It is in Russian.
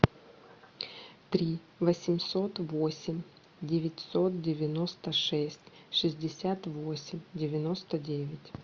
три восемьсот восемь девятьсот девяносто шесть шестьдесят восемь девяносто девять